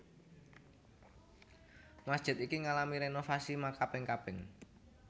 Masjid iki ngalami rénovasi makaping kaping